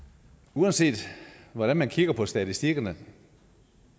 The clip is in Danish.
uanset hvordan man kigger på statistikkerne